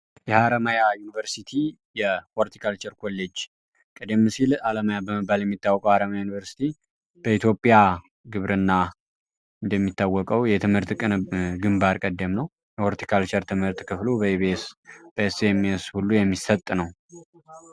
የሀረማያ ዩኒቨርሲቲ የሆልቲ ካልቸር ኮሌጅ ቀደም ሲል አለማያ በመባል የሚታወቀው አረማያ ዩኒቨርስቲ በኢትዮጵያ ግብርና እንደሚታወቀው የትምህርት ቀን ግንባር ቀደም ነው። ሆልቲ ካልቸር ትምህርት ክፍሉ በኢቢኤስ በኢስ ኤም ኤስ የሚሰጥ ነው።